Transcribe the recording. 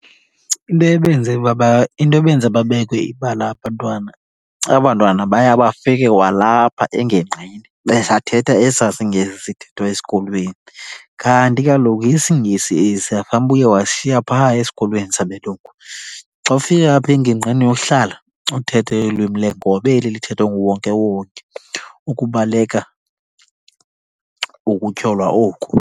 Into ebenze , into ebenza babekwe ibala abantwana, aba bantwana baye bafike kwalapha engingqini besathetha esaa siNgesi sithethwa esikolweni. Kanti kaloku isiNgesi esiya fanuba uye wasishiya phaa esikolweni sabelungu, xa ufika apha engingqini yohlala uthethe ulwimi leenkobe eli lithethwa nguwonkewonke ukubaleka ukutyholwa oku.